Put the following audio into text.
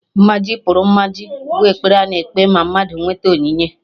"Mmaji pụrụ Mmaji" bụ ekpere a na-ekpe ma mmadụ nwete onyinye